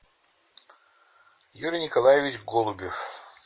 юрий николаевич голубев